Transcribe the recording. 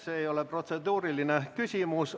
See ei ole protseduuriline küsimus.